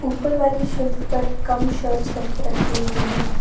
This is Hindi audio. ऊपर वाली शेल्फ पर कम शर्ट्स रखी रखी हुई हैं।